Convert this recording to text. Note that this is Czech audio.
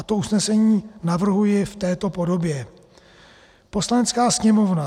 A to usnesení navrhuji v této podobě: "Poslanecká sněmovna